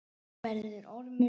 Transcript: Verður ormur.